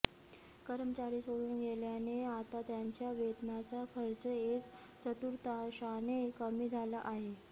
कर्मचारी सोडून गेल्याने आता त्यांच्या वेतनाचा खर्च एक चतुर्थांशाने कमी झाला आहे